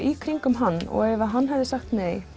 í kringum hann og ef hann hefði sagt nei